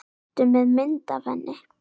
Ertu með mynd af henni?